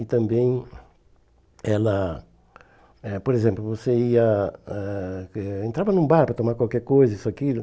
E também ela... eh Por exemplo, você ia ãh eh... Entrava num bar para tomar qualquer coisa, isso, aquilo.